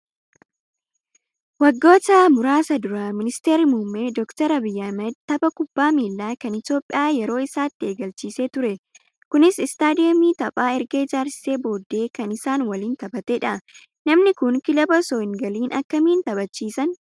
Waggoota muraasa dura ministeerri muummee doktar Abiyyi Ahmad tapha kubbaa miilaa kan Itoophiyaa yeroo isaatti eegalchiisee ture. Kunis istaadiyoomii taphaa erga ijaarsisee booddee kan isaan waliin taphatedha. Namni kun kilaba osoo hin galiin akkamiin taphachiisan?